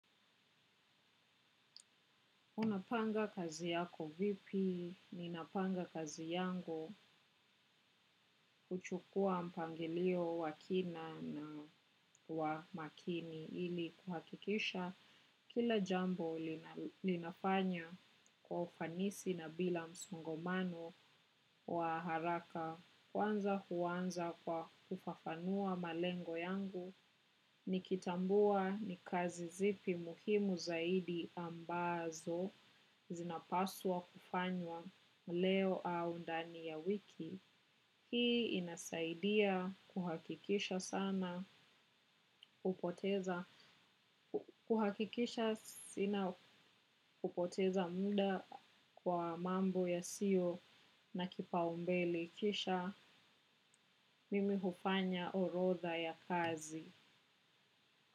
Unapanga kazi yako vipi, ninapanga kazi yangu kuchukua mpangilio wa kina na wa makini ili kuhakikisha. Kila jambo linafanya kwa ufanisi na bila msongamano wa haraka kwanza huanza kwa kufafanua malengo yangu. Nikitambua ni kazi zipi muhimu zaidi ambazo zinapaswa kufanywa leo au ndani ya wiki. Hii inasaidia kuhakikisha sana upoteza kuhakikisha sina kupoteza muda kwa mambo yasio na kipaumbele. Kisha mimi hufanya orodha ya kazi.